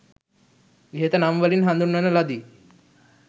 ඉහත නම් වලින් හඳුන්වන ලදී.